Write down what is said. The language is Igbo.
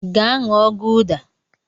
Gaa ṅụọ gụda!